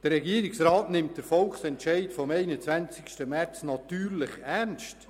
Der Regierungsrat nimmt den Volksentscheid vom 21. März natürlich ernst.